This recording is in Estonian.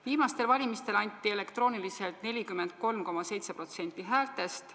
Viimastel valimistel anti elektrooniliselt 43,7% häältest.